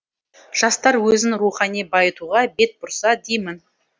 жастар өзін рухани байытуға бет бұрса деймін